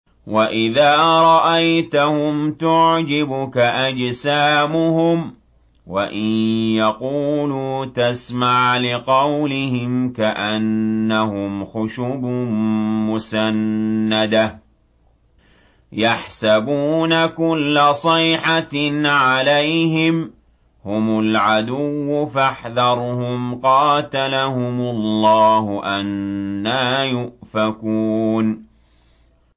۞ وَإِذَا رَأَيْتَهُمْ تُعْجِبُكَ أَجْسَامُهُمْ ۖ وَإِن يَقُولُوا تَسْمَعْ لِقَوْلِهِمْ ۖ كَأَنَّهُمْ خُشُبٌ مُّسَنَّدَةٌ ۖ يَحْسَبُونَ كُلَّ صَيْحَةٍ عَلَيْهِمْ ۚ هُمُ الْعَدُوُّ فَاحْذَرْهُمْ ۚ قَاتَلَهُمُ اللَّهُ ۖ أَنَّىٰ يُؤْفَكُونَ